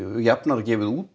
jafnara gefið út